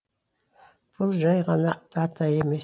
бұл жай ғана дата емес